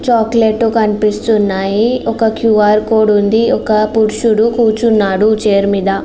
Chocolate కనిపిస్తుంది. ఒక QR code ఉంది. ఒక పురుషుడు కూర్చొన్నడ్ చైర్ మీద.